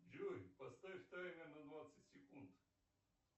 джой поставь таймер на двадцать секунд